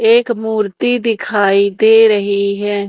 एक मूर्ति दिखाई दे रही है।